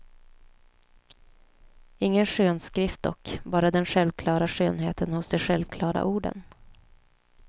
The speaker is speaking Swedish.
Ingen skönskrift dock, bara den självklara skönheten hos de självklara orden.